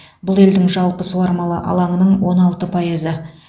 бұл елдің жалпы суармалы алаңының он алты пайызы